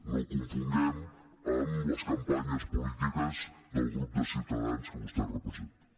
no ho confonguem amb les campanyes polítiques del grup de ciutadans que vostè representa